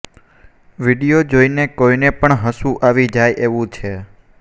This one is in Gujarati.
વીડિયો જોઈને કોઈને પણ હસવું આવી જાય એવું છે